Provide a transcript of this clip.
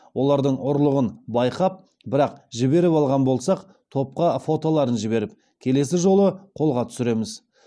олардың ұрлығын байқап бірақ жіберіп алған болсақ топқа фотоларын жіберіп келесі жолы қолға түсіреміз